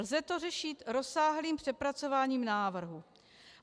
Lze to řešit rozsáhlým přepracováním návrhu.